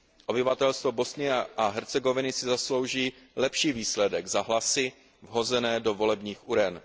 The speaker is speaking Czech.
Obyvatelstvo Bosny a Hercegoviny si zaslouží lepší výsledek za hlasy vhozené do volebních uren.